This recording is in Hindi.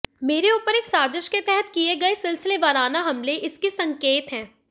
मेरे ऊपर एक साजिश के तहत किए गए सिलसिलेवाराना हमले इसके संकेत हैं